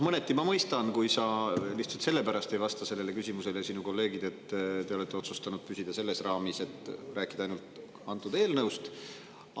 Mõneti ma mõistan, kui sina ja su kolleegid lihtsalt sellepärast ei vasta sellele küsimusele, et te olete otsustanud püsida selles raamis, et tuleb rääkida ainult sellest eelnõust.